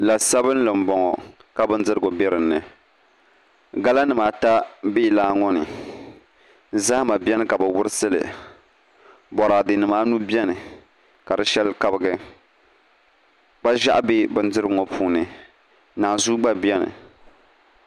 La sabinli n boŋo ka bindirigu bɛ dinni gala nimaata n bɛ laa ŋoni zahama bɛni ka bi wurisili boraadɛ nim anu bɛni ka di shɛli kabigi kpa ʒiɛɣu bɛ bindirigu ŋo puuni naanzuu gba bɛni